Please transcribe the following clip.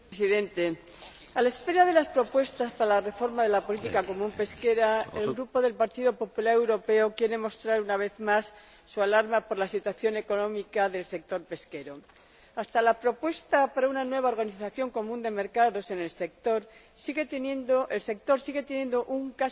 Señor Presidente, a la espera de las propuestas para la reforma de la política pesquera común, el Grupo del Partido Popular Europeo quiere mostrar, una vez más, su alarma por la situación económica del sector pesquero. Hasta que se presente la propuesta para una nueva organización común de mercados en el sector, este sigue teniendo un